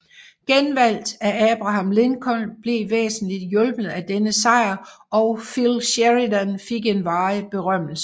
Genvalget af Abraham Lincoln blev væsentligt hjulpet af denne sejr og Phil Sheridan fik en varig berømmelse